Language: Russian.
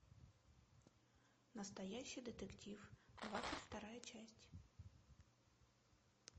настоящий детектив двадцать вторая часть